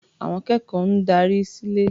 Àwọn akẹ́kọ̀ọ́ ń darí sílé.